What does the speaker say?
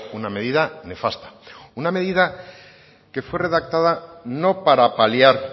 una medida nefasta una medida que fue redactada no para paliar